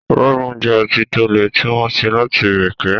Rọ́mù jẹ́ ọtí to le tí wọ́n ṣe láti ìrèké